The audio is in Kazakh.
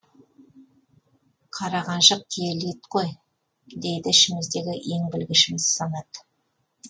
қара қаншық киелі ит қой дейді ішіміздегі ең білгішіміз санат